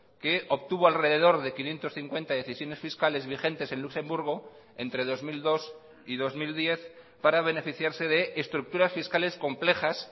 que obtuvo alrededor de quinientos cincuenta decisiones fiscales vigentes en luxemburgo entre dos mil dos y dos mil diez para beneficiarse de estructuras fiscales complejas